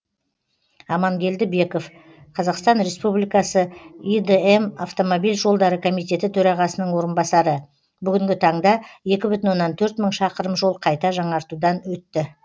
амангелді беков қазақстан республикасы идм автомобиль жолдары комитеті төрағасының орынбасары бүгінгі таңда екі бүтін оннан төрт мың шақырым жол қайта жаңартудан өтті